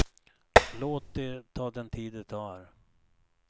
Låt det ta den tid det tar.